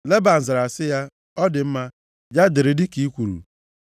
Leban zara sị ya, “Ọ dị mma. Ya dịrị dịka i kwuru.”